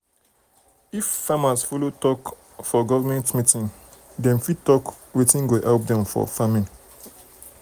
if farmers follow talk farmers follow talk for government meeting dem fit talk wetin go help dem for farming.